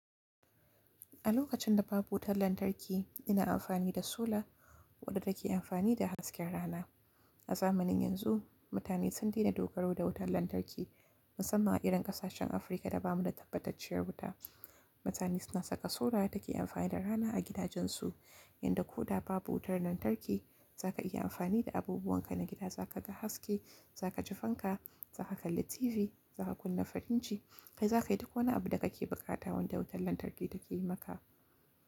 A lokacin da babu wutar lantarki, ina amfani da sola waɗanda ke amfani da hasken rana. A zamanin yanzu, mutane sun daina dogaro da wutar lantarki, musamman a irin ƙasashen Afirka da ba mu da tabbacacciyar wuta. Mutane suna saka sola da take amfani da rana a gidajen su. Yanda ko da babu wutar lantarki, za ka iya amfani da abubuwan ka na gida, za ka ga haske, za ka ci fanka, za ka kalli TV, za ka kunna firinji, kai za ka yi duk wani abu da kake bukata wanda wutar lantarki take yi maka.